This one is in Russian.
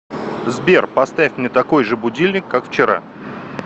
сбер поставь мне такой же будильник как вчера